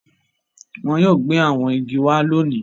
Wọn yóò gbé àwọn igi wá lóòní.